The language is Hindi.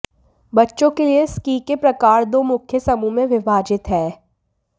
बच्चों के लिए स्की के प्रकार दो मुख्य समूहों में विभाजित हैं